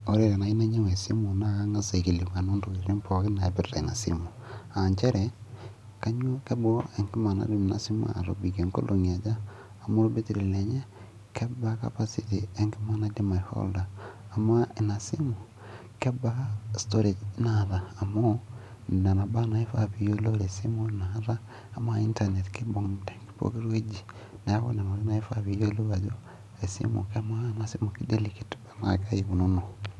ore enayieu nainyiang'u esimu naa kang'as aikilikuanu intokitin pookin naaipirta ina simu, aa nchere kebaa enkima najing ina simu, kebaa atobikie inkolong'i aja, ama olbetiri lenye, kebaa capacity enkima naidm ai holder amaa ena simu kebaa storage naataa amu nena baa naa ifaa niyiolou, tesimu, amaa internet kibung te poki wueji, neeku amaa ena simu ki delicate tenaa kaji ikununo.